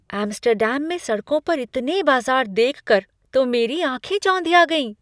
Amsterdam में सड़कों पर इतने बाज़ार देख कर तो मेरी आँखें चौंधिया गई।